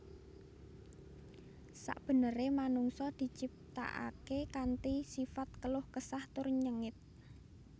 Sakbeneré manungsa diciptakaké kanthi sifat keluh kesah tur nyengit